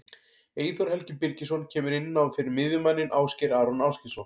Eyþór Helgi Birgisson kemur inn á fyrir miðjumanninn Ásgeir Aron Ásgeirsson.